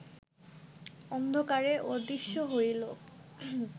অন্ধকারে অদৃশ্য হইল